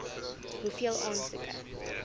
hoeveel aansoeke